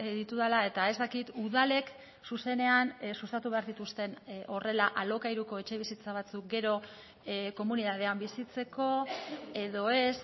ditudala eta ez dakit udalek zuzenean sustatu behar dituzten horrela alokairuko etxebizitza batzuk gero komunitatean bizitzeko edo ez